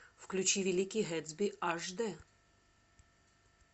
включи великий гэтсби аш д